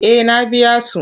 Eh na biya su.